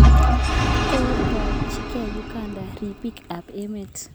Kotakchikei Uganda ripik ap emet